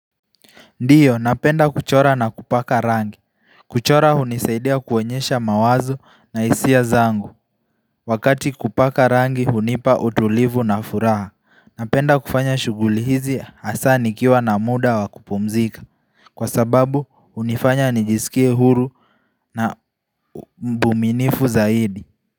Ndio napenda kuchora na kupaka rangi kuchora hunisaidia kuonyesha mawazo na hisia zangu Wakati kupaka rangi hunipa utulivu na furaha Napenda kufanya shughuli hizi hasa nikiwa na muda wa kupumzika Kwa sababu hunifanya nijiskie huru na mbuminifu zaidi.